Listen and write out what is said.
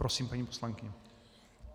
Prosím, paní poslankyně.